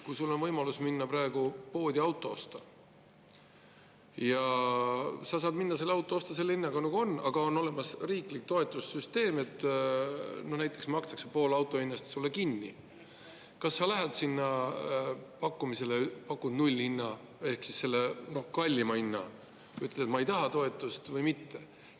Kui sul on võimalus minna praegu poodi ja sa saad osta auto selle hinnaga, nagu on, aga on olemas ka riiklik toetussüsteem, et makstakse näiteks pool auto hinnast sulle kinni, kas sa lähed sinna ja pakud nullhinna ehk siis kallima hinna, ütled, et ma ei taha toetust, või mitte?